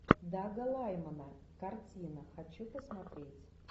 дага лаймона картина хочу посмотреть